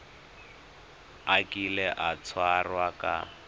a kile a tshwarwa ka